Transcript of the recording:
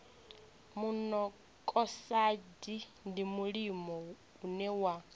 monokosaidi ndi mulimo une wa